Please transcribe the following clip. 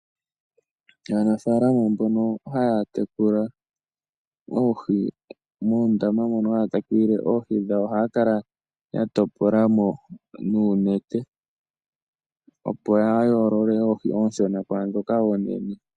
Aanafaalama mbono haya tekula oohi muundama mono haya tekulile oohi dhawo ohaya kala ya topola mo nuunete opo ya yoolole oohi ndhoka oonshona kwaandhoka oonene.